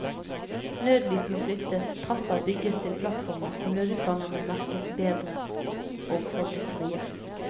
Nødlys må flyttes, trapper bygges til plattformer og nødutganger må merkes bedre og holdes frie.